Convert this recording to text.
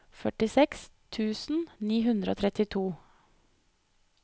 førtiseks tusen ni hundre og trettito